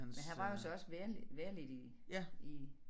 Men han var jo så også vel vellidt i i